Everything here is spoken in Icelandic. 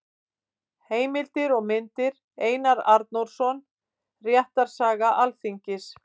Heimildir og myndir: Einar Arnórsson: Réttarsaga Alþingis.